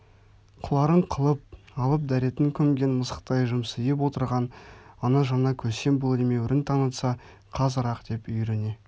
қыларын қылып алып дәретін көмген мысықтай жымсиып отырған ана жаңа көсем бұл емеурін танытса қазір-ақ деп үйіріне